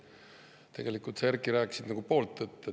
Tegelikult sa, Erkki, rääkisid nagu pool tõtt.